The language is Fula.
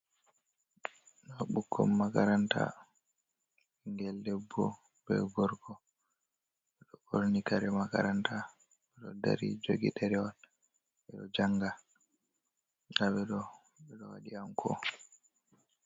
Nda ɓikkon makaranta, ɓingel debbo be gorko. ɓeɗo ɓorni kare makaranta ɓeɗo dari jogi ɗere wol, ɓeɗo janga ndaɓeɗo ɓeɗo waɗi anko.